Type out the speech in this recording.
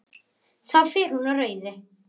Þá fer hún á rauðu.